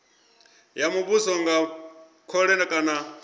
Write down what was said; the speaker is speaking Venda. ya muvhuso nga khole kana